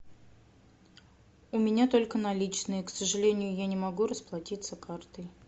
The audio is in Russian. у меня только наличные к сожалению я не могу расплатиться картой